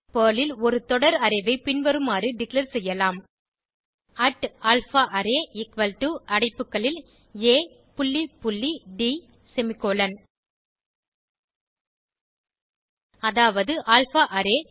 Perl ல் ஒரு தொடர் அரே ஐ பின்வருமாறு டிக்ளேர் செய்யலாம் alphaArray அடைப்புகளில் ஆ புள்ளி புள்ளி ட் செமிகோலன் அதாவது அல்பாரே